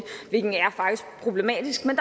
problematisk men